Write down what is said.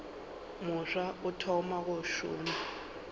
mofsa o thoma go šoma